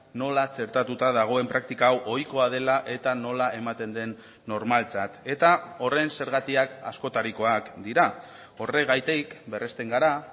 nola txertatuta dagoen praktika hau ohikoa dela eta nola ematen den normaltzat eta horren zergatiak askotarikoak dira horregatik berresten gara